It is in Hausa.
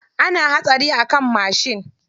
Ana hatsari a kan mashin.